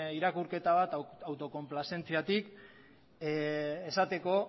irakurketa bat autokonplazentziatik esateko